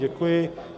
Děkuji.